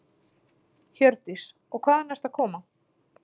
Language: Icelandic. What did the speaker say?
Hjördís: Og hvaðan ertu að koma?